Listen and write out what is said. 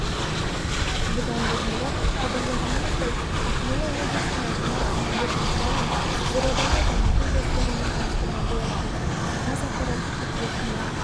бұдан бұрынырақ хабарлағанымыздай ақмола облысының әкімі мәлік мырзалин бурабайды дамыту жоспарымен таныстырған болатын қазақпарат қыркүйек күні